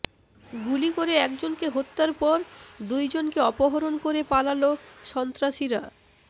গুলি করে একজনকে হত্যার পর দুই জনকে অপহরণ করে পালালো সন্ত্রাসীরা